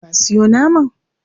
Ka sayo naman?